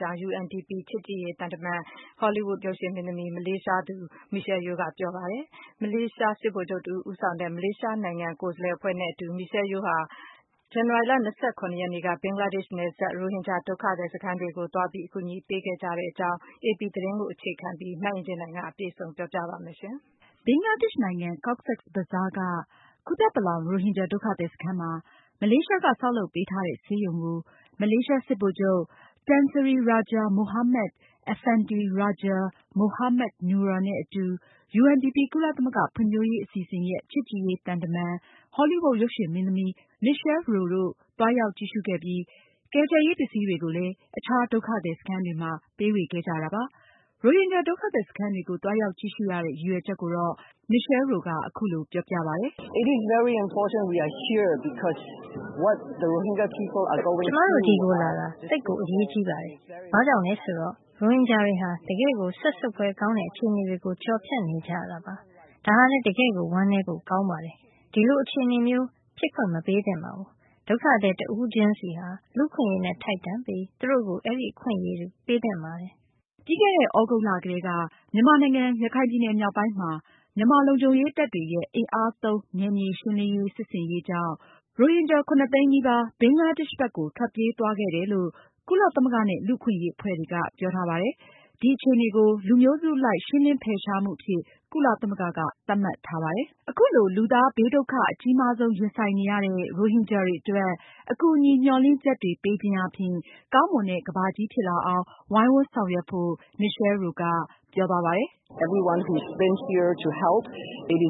ကြောင်း UNDP ချစ်ကြည်ရေးသံတမန်၊ နာမည်ကြီး ဟောလီးဝုဒ်ရုပ်ရှင်မင်းသမီး မလေးရှားနိုင်ငံသူ Michelle Yeoh က ပြောပါတယ်။ မလေးရှား စစ်ဗိုလ်ချုပ်တဦး ဦးဆောင်တဲ့ မလေးရှားနိုင်ငံကိုယ်စားလှယ်အဖွဲ့နဲ့အတူ Michelle Yeoh ဟာ ဇန်နဝါရီလ ၂၇ ရက်နေ့က ဘင်္ဂလားဒေ့ရှ်နယ်စပ် ရိုဟင်ဂျာဒုက္ခသည်စခန်းတွေကို သွားရောက်ကြည့်ရှုပြီး အကူအညီတွေ ပေးခဲ့ကြပါတယ်။ အေပီသတင်းကိုအခြေခံပြီး မအင်ကြင်းနိုင်က တင်ပြထားပါတယ်။ ဘင်္ဂလားဒေ့ရှ်နိုင်ငံ Cox’s Bazar က Kutupalong ရိုဟင်ဂျာဒုက္ခသည်စခန်းမှာ မလေးရှားက ဆောက်လုပ်ပေး ထားတဲ့ ဆေးရုံကို မလေးရှားစစ်ဗိုလ်ချုပ် Tan Sri Raja Mohamed Affandi Raja Mohamed Noor နဲ့အတူ UNDP ကုလသမဂ္ဂဖွံဖြိုးရေးအစီအစဉ်ရဲ့ ချစ်ကြည်ရေးသံတမန် Michelle Yeoh တို့ သွားရောက်ကြည့်ရှုပြီး ကယ်ဆယ်ရေးပစ္စည်းတွေကိုလည်း အခြားဒုက္ခသည်စခန်းတွေမှာ ပေးဝေခဲ့ကြတာပါ။ ရိုဟင်ဂျာဒုက္ခသည်စခန်းတွေကို သွားရောက်ကြည့်ရှုရတဲ့ ရည်ရွယ်ချက်ကို Michelle Yeoh က အခုလို ပြောပြပါတယ်။ “ကျမတို့ ဒီကိုလာတာ သိပ်အရေးကြီးပါတယ်။ ဘာကြောင့်လည်းဆိုတော့ ရိုဟင်ဂျာတွေဟာ တကယ့်ကို စက်ဆုပ်ဖွယ်ကောင်းတဲ့ အခြေအနေတွေကို ကျော်ဖြတ်နေကြရပါတယ်။ ဒါဟာလည်း တကယ့်ကို ဝမ်းနည်းဖို့ ကောင်းပါတယ်။ ဒီလိုအခြေအနေမျိုး ဖြစ်ခွင့်မပြုသင့်ပါဘူး။ ဒုက္ခသည်တဦးချင်းစီဟာ လူ့အခွင့်အရေးနဲ့ ထိုက်တန်ပြီး သူတို့ကို အဲဒီအခွင့်အရေး ပေးသင့်ပါတယ်။” ပြီးခဲ့တဲ့သြဂုတ်လကတည်းက မြန်မာနိုင်ငံ ရခိုင်ပြည်နယ်မြောက်ပိုင်းမှာ မြန်မာလုံခြုံရေးတပ်တွေရဲ့ အင်အားသုံး နယ်မြေရှင်းလင်း စစ်ဆင်ရေးကြောင့် ရိုဟင်ဂျာ ၇၀၀,၀၀၀ သိန်းနီးပါး ဘင်္ဂလားဒေ့ရှ်ဘက်ကို ထွက်ပြေးတယ် လို့ ကုလသမဂ္ဂနဲ့ လူ့အခွင့်အရေးအဖွဲ့တွေက ပြောထားပါတယ်။ ဒီအခြေအနေကို လူမျိုးစုအလိုက် ရှင်းလင်း ဖယ်ရှားမှုအဖြစ် ကုလသမဂ္ဂက သတ်မှတ်ထားပါတယ်။ အခုလို လူသားဘေးဒုက္ခ အကြီးမားဆုံးရင်ဆိုင်နေရတဲ့ ရိုဟင်ဂျာတွေအတွက် အကူအညီ မျှော်လင့်ချက်တွေ ပေးခြင်းအားဖြင့် ကောင်းမွန်တဲ့ကမ္ဘာကြီးဖြစ်လာအောင် ဝိုင်းဝန်းဆောင်ရွက်ဖို့ Michelle Yeoh ကပြောပါတယ်။ “ကျမတို့ ဂရုတစိုက်ရှိတာကြောင့် သူ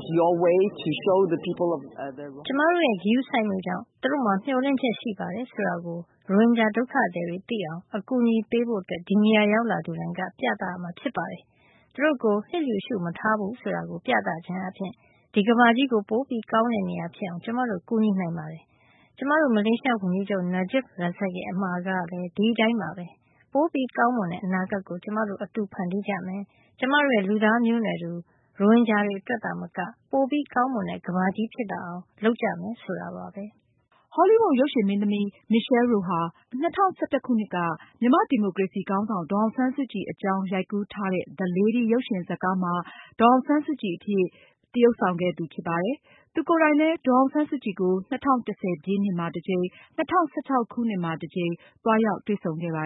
တို့မှာ မျှော်လင့်ချက်ရှိပါတယ်ဆိုတာ ရိုဟင်ဂျာဒုက္ခသည်တွေကို အကူအညီပေးဖို့ ဒီနေရာကို ရောက်လာသူတိုင်းက နည်းလမ်းရှာပြသရမှာဖြစ်ပါတယ်။ သူတို့ကို လျစ်လျူပြု မထားဘူးဆိုတာ ပြသခြင်းအားဖြင့် ဒီကမ္ဘာကြီးကို ပိုပြီးကောင်းတဲ့ နေရာဖြစ်အောင် ကျမတို့ ကူညီလုပ်ဆောင် နိုင်ပါတယ်။ ကျမတို့ မလေးရှားဝန်ကြီးချုပ် Najib Razak ရဲ့ အမှာစကားကလည်း ဒီအတိုင်းပါပဲ။ ပိုပြီး ကောင်းမွန်တဲ့ အနာဂတ်ကို ကျမတို့ အတူတကွဖန်တီးကြမယ်၊ ကျမတို့ရဲ့ လူသားမျိုးနွယ်တူ ရိုဟင်ဂျာတွေ အတွက်သာမက ပိုပြီးကောင်းမွန်တဲ့ ကမ္ဘာကြီးဖြစ်လာအောင် လုပ်ဆောင်ကြမယ်ဆိုတာပါပဲ။” ဟောလီးဝုဒ် ရုပ်ရှင်မင်းသမီး Michelle Yeoh ဟာ မြန်မာ့ဒီမိုကရေစီခေါင်းဆောင် ဒေါ်အောင်ဆန်းစုကြည် အကြောင်းရိုက်ကူးပြီး ၂၀၁၁ ခုနှစ်ကထွက်တဲ့ The Lady ရုပ်ရှင်ဇာတ်ကားမှာ ဒေါ်အောင်ဆန်းစုကြည်အဖြစ် သရုပ်ဆောင်ခဲ့သူဖြစ်ပါတယ်။ သူကိုယ်တိုင်လည်း ဒေါ်အောင်ဆန်းစုကြည်ကို ၂၀၁၀ ပြည့်နှစ်မှာ တကြိမ်၊ ၂၀၁၆ ခုနှစ်မှာ တကြိမ် သွားရောက်တွေ့ဆုံခဲ့ပါ